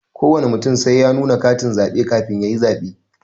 Kowana mutum sai ya nuna katin zabe kafin yayi zabe.